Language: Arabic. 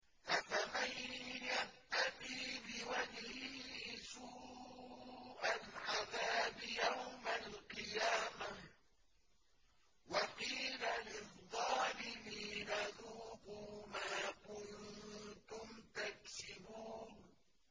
أَفَمَن يَتَّقِي بِوَجْهِهِ سُوءَ الْعَذَابِ يَوْمَ الْقِيَامَةِ ۚ وَقِيلَ لِلظَّالِمِينَ ذُوقُوا مَا كُنتُمْ تَكْسِبُونَ